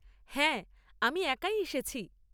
হ্যাঁ, আমি একাই এসেছি।